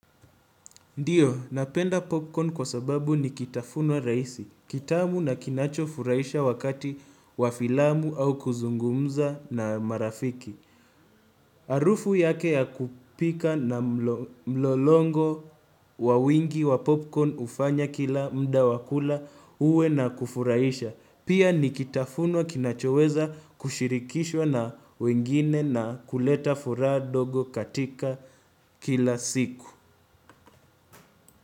Ndiyo, napenda popcorn kwa sababu ni kitafunwa rahisi, kitamu na kinacho furaisha wakati wa filamu au kuzungumza na marafiki. Arufu yake ya kupika na mlolongo wawingi wa popcorn ufanya kila muda wa kula uwe na kufuraisha. Pia ni kitafunwa kinachoweza kushirikishwa na wengine na kuleta furaha dogo katika kila siku.